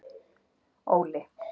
Óli